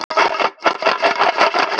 Rautt og hvítt